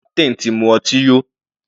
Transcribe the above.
Captain ti mu ọtí yó.